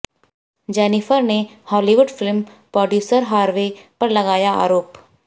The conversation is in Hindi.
जेनिफर ने हॉलीवुड फिल्म प्रोड्यूसर हार्वे पर लगाया आरोप